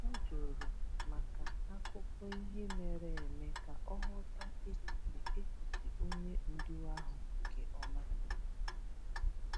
O jụrụ maka akụkọ ihe mere eme ka ọ ghọta echiche echiche onye ndu ahụ nke ọma.